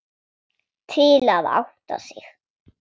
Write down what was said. Til að átta sig.